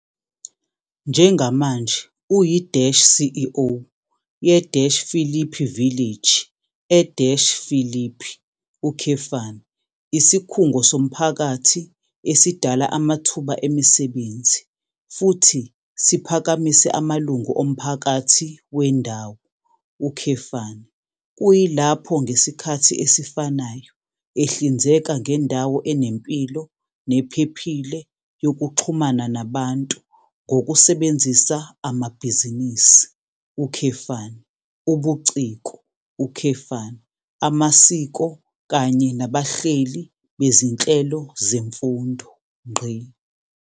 Njengamanje uyi-CEO ye-Philippi Village e-Philippi, isikhungo somphakathi esidala amathuba emisebenzi futhi siphakamise amalungu omphakathi wendawo, kuyilapho ngesikhathi esifanayo ehlinzeka ngendawo enempilo nephephile yokuxhumana nabantu ngokusebenzisa amabhizinisi, ubuciko, amasiko kanye nabahleli bezinhlelo zemfundo.